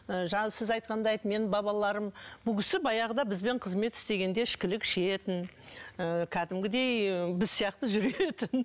ы жаңағы сіз айтқандай айтты менің бабаларым бұл кісі баяғыда бізбен қызмет істегенде ішкілік ішетін ыыы кәдімгідей біз сияқты жүретін